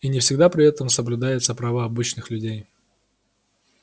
и не всегда при этом соблюдаются права обычных людей